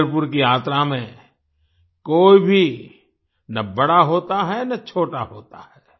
पंढरपुर की यात्रा में कोई भी न बड़ा होता है न छोटा होता है